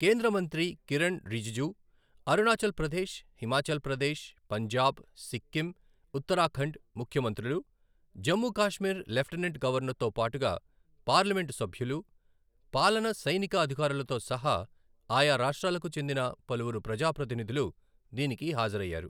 కేంద్ర మంత్రి కిరణ్ రిజిజు, అరుణాచల్ ప్రదేశ్, హిమాచల్ ప్రదేశ్, పంజాబ్, సిక్కిం, ఉత్తరాఖండ్ ముఖ్యమంత్రులు, జమ్ము కాశ్మీర్ లెఫ్టనెంట్ గవర్నర్తో పాటుగా పార్లమెంటు సభ్యులు, పాలన సఐనిక అధికారులతో సహా ఆయా రాష్ట్రాలకు చెందిన పలువురు ప్రజా ప్రతినిధులు దీనికి హాజరయ్యారు.